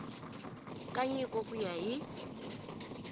ka nyiko ku ya hi